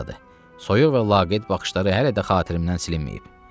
Soyuq və laqeyd baxışları hələ də xatirimdən silinməyib.